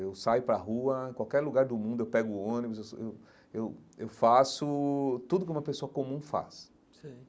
Eu saio para rua, em qualquer lugar do mundo eu pego ônibus, eu sou eu eu eu faço tudo que uma pessoa comum faz sei.